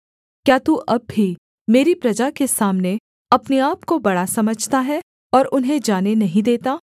क्या तू अब भी मेरी प्रजा के सामने अपने आपको बड़ा समझता है और उन्हें जाने नहीं देता